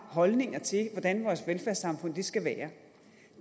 holdninger til hvordan vores velfærdssamfund skal være